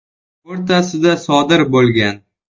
o‘rtasida sodir bo‘lgan.